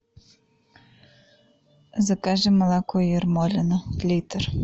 закажи молоко ермолино литр